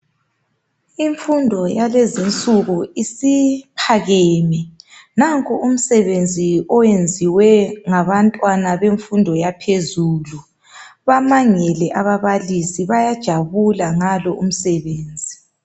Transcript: Imfundo yakulezinsuku is iphakethe, nanku umsebenzi osuyenziwe ngabantwana bemfundo yaphezulu. Bamangele ababalisi bayajabula ngalo umsebenzi.